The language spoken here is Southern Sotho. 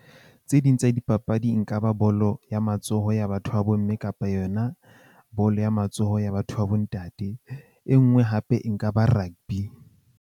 Tse ding tsa dipapadi nka ba bolo ya matsoho ya batho ba bo mme kapa yona bolo ya matsoho ya batho ba bo ntate. E nngwe hape e nka ba rugby.